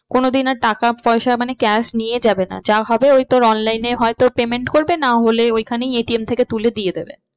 কোনো দিন আর টাকা পয়সা মানে cash নিয়ে যাবে না যা হবে তোর ওই online এ হয়তো payment করবে না হলে ওইখানেই ATM থেকে তুলে দিয়ে দেবে।